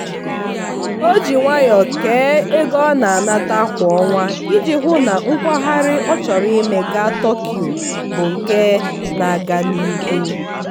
o ji nwayọọ kee ego ọ na-anata kwa ọnwa iji hụụ na nkwagharị ọ chọrọ ime gaa tokyo bụ nke na-aga n'ihu.